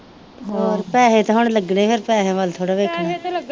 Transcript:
ਹੋਰ ਪੈਸੇ ਤੇ ਹੁਣ ਲੱਗਨੇ ਫਿਰ ਪੈਸੇ ਵੱਲ ਥੋੜ੍ਹਾ ਵੇਖਣਾ